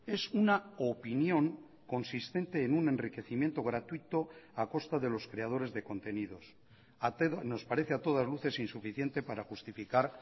es una opinión consistente en un enriquecimiento gratuito a costa de los creadores de contenidos nos parece a todas luces insuficiente para justificar